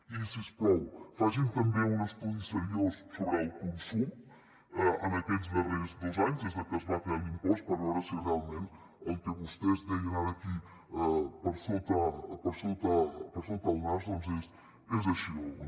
i si us plau facin també un estudi seriós sobre el consum en aquests darrers dos anys des que es va crear l’impost per veure si realment el que vostès deien ara aquí per sota el nas doncs és així o no